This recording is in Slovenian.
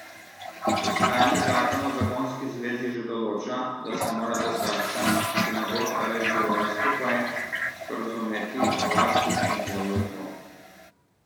Dosedanji zakon o zakonski zvezi že določa, da se morata starša, ki ne bosta več živela skupaj, sporazumeti o varstvu in vzgoji otrok.